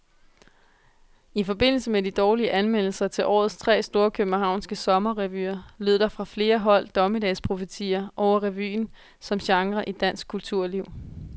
I forbindelse med de dårlige anmeldelser til årets tre store københavnske sommerrevyer, lød der fra flere hold dommedagsprofetier over revyen som genre i dansk kulturliv.